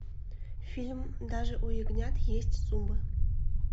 фильм даже у ягнят есть зубы